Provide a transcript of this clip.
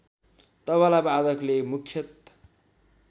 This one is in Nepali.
तबला वादकले मुख्यत